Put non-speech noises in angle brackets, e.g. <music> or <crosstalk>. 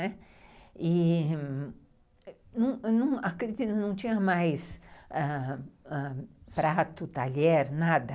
E, <unintelligible> a creche não tinha mais prato, talher, nada.